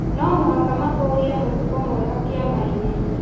No mũhaka matũrie mũtugo mwega kĩama-inĩ.